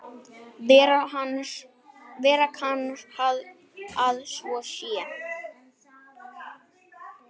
Vera kann að svo sé.